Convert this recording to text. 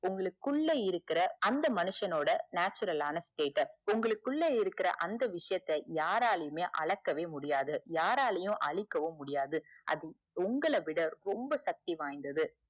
உங்களுக்குள்ள இருக்குற அந்த மனசனோட natural ஆன stateup உங்களுக்குள்ள இருக்குற அந்த விசயத்த யாரளையுமே அளக்கவே முடியாது யாராலையுமே அழிக்கவும் முடியாது அது உங்களைவிட ரொம்ப சக்தி வாய்ந்தது